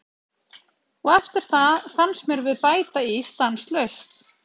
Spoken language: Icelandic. Og eftir það fannst mér við bæta í stanslaust.